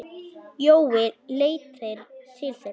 Jói leit til þeirra.